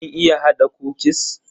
Kin iya hada kukis?